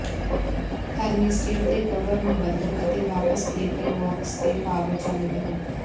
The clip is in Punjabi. ਥਰਮਿਸਟੈਟ ਦੇ ਕਵਰ ਨੂੰ ਬਦਲੋ ਅਤੇ ਵਾਪਸ ਬ੍ਰੇਕਰ ਬਾਕਸ ਤੇ ਪਾਵਰ ਚਾਲੂ ਕਰੋ